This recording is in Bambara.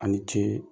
A ni ce